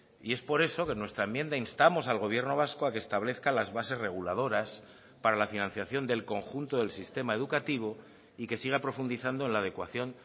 y es por eso que nuestra enmienda instamos al gobierno vasco a que establezca las bases reguladoras para la financiación del conjunto del sistema educativo y que siga profundizando en la adecuación